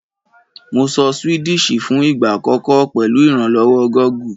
Mo sọ Swedish fún ìgbà àkọ́kọ́ pèlu ìrànlówó Google